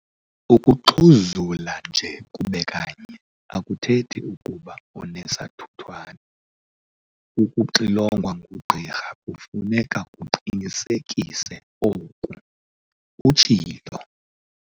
"Ukuxhuzula nje kube kanye akuthethi ukuba unesathuthwane. Ukuxilongwa ngugqirha kufuneka kuqinisekise oku," utshilo.